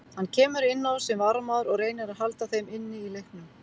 Hann kemur inn á sem varamaður og reynir að halda þeim inni í leiknum.